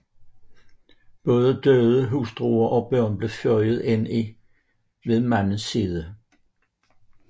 Både døde hustruer og børn blev føjet ind ved mandens side